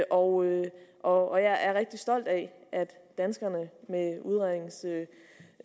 og og jeg er rigtig stolt af at danskerne